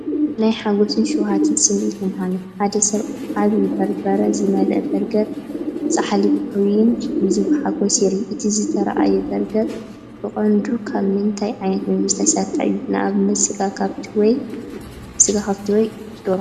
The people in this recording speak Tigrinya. ናይ ሓጎስን ሸውሃትን ስምዒት የመሓላልፍ። ሓደ ሰብ ዓቢ በርበረ ዝመልአ በርገርን ጻሕሊ ፍራይን ሒዙ ብሓጎስ ይርአ። እቲ ዝተርኣየ በርገር ብቐንዱ ካብ ምንታይ ዓይነት ምግቢ ዝተሰርሐ እዩ (ንኣብነት ስጋ ከብቲ ወይ ደርሆ)?